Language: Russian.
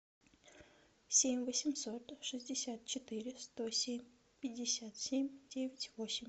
семь восемьсот шестьдесят четыре сто семь пятьдесят семь девять восемь